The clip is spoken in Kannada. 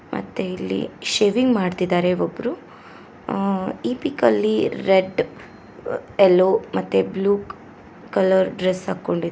ಮತ್ತೆ ಇಲ್ಲಿ ಶೇವಿಂಗ್ ಮಾಡ್ತಿದಾರೆ ಒಬ್ರು ಈ ಪಿಕ್ ಅಲ್ಲಿ ರೆಡ್ ಯೆಲ್ಲೋ ಮತ್ತೆ ಬ್ಲೂ ಕಲರ್ ಡ್ರೆಸ್ ಹಾಕೊಂಡಿ --